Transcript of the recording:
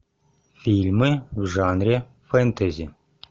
фильмы в жанре фэнтези